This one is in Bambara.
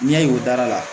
N'i y'a ye o dara la